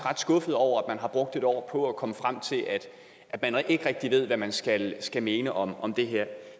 skuffet over at man har brugt et år på at komme frem til at man ikke rigtig ved hvad man skal skal mene om om det her